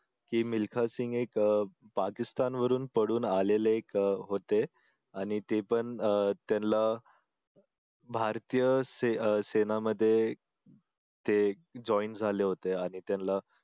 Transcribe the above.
की मिल्खासिंग एक पाकिस्तान वरून पळून आलेले एक होते आणि ते पण अह त्यांना भारतीय अह सेनामध्ये ते join झाले होते आणि त्यांना